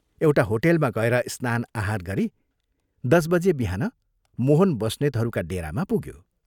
एउटा होटेलमा गएर स्नान आहार गरी दस बजे बिहान मोहन बस्नेतहरूका डेरामा पुग्यो।